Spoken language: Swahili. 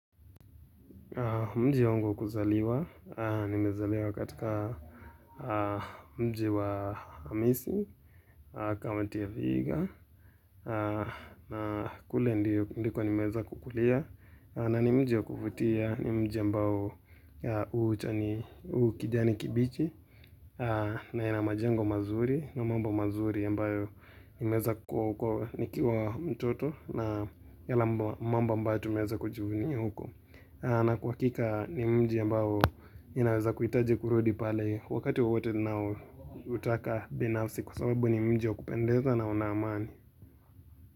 Mji wangu wa kuzaliwa, nimezaliwa katika mji wa misi, kaunti ya vihiga, na kule ndiko nimeweza kukulia, na ni mji wa kuvutia, ni mji ambao huchani, hu kijani kibichi, na ina majengo mazuri, na mambo mazuri ambayo nimeweza kuwa huko, nikiwa mtoto, na yala ma mambo ambao tumeweza kujivunia huko. Na kwa hakika ni mji mbao inaweza kuhitaji kurudi pale wakati wowote ninao hutaka binafsi kwa sababu ni mji wa kupendeza na una amani.